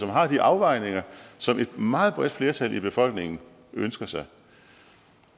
har de afvejninger som et meget bredt flertal i befolkningen ønsker sig